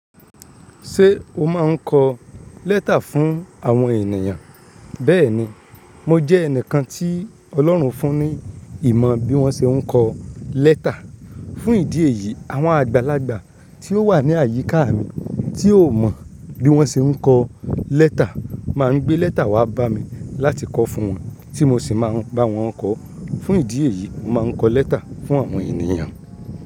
Ṣé o máa ń kọ lẹ́tà fún àwọn ènìyàn? Bẹ́ẹ̀ni, mo jẹ́ ẹnìkan tí Ọlọ́run fún ní ìmọ̀ bí wọ́n ṣe ń kọ lẹ́tà. Fún ìdí èyí, àwọn àgbàlagbà tí ó wà ní àyíká mi tí ó mọ̀ bí wọ́n ṣe ń kọ lẹ́tà máa ń gbé lẹ́tà wá bá mi láti kọ fún wọn, tí mo sì máa ń bá wọn kọ. Fún ìdí èyí, mo máa ń kọ lẹ́tà fún àwọn ènìyàn.